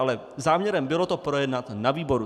Ale záměrem bylo to projednat na výboru.